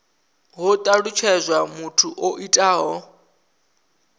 ho talutshedzwa muthu o itaho